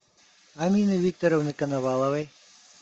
амины викторовны коноваловой